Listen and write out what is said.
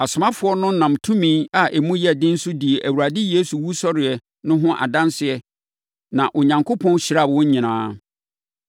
Asomafoɔ no nam tumi a emu yɛ den so dii Awurade Yesu wusɔreɛ no ho adanseɛ na Onyankopɔn hyiraa wɔn nyinaa.